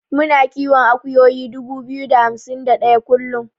Muna kiwon akuyoyi dubu biyu da hamsin da ɗaya kullun.